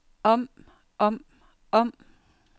om om om